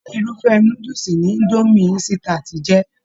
Ṣe irufẹ núdúsí ní Idomi insitati jẹ?